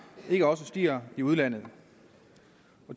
ikke også stiger i udlandet